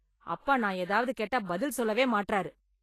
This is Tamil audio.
அப்பா நான் ஏதாவது கேட்டா பதில் சொல்லவே மாட்டறாரு.